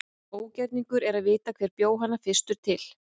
Ógerningur er að vita hver bjó hana fyrstur til.